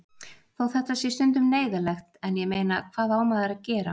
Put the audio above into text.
Þó þetta sé stundum neyðarlegt en ég meina, hvað á maður að gera?